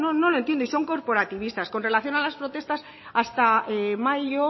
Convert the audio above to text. no lo entiendo y son corporativistas con relación a las protestas hasta mayo